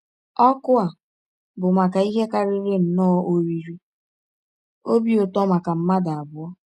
Ọ̀kụ a bụ maka ihe karịrị nnọọ oriri ọbi ụtọ maka mmadụ abụọ.